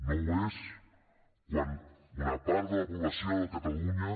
no ho és quan una part de la població de catalunya